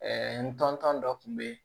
n tɔntɔn dɔ tun bɛ yen